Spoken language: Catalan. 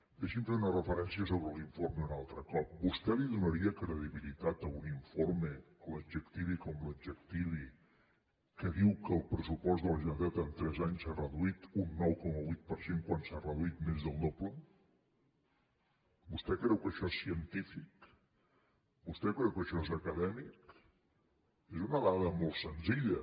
deixi’m fer una referència sobre l’informe un altre cop vostè donaria credibilitat a un informe l’adjectivi com l’adjectivi que diu que el pressupost de la generalitat en tres anys s’ha reduït un nou coma vuit per cent quan s’ha reduït més del doble vostè creu que això és científic vostè creu que això és acadèmic és una dada molt senzilla